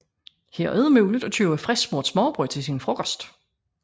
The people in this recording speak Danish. Her er det muligt at købe frisksmurt smørrebrød til sin frokost